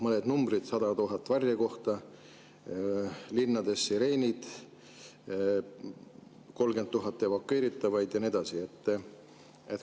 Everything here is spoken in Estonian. Mõned numbrid: 100 000 varjekohta, linnades sireenid, 30 000 evakueeritavat ja nii edasi.